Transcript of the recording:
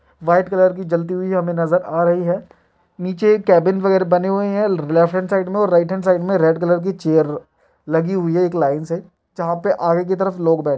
white colour की जलती हुई हमें नज़र आ रही है नीचे एक केबिन वगैरा बने हुए हैं लेफ्ट हैंड साइड में और राइट हैंड साइड में रेड कलर की चेयर लगी हुई है एक लाइन से जहाँ पर आगे की तरफ लोग बै--